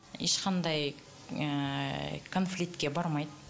ешқандай ыыы конфликтке бармайды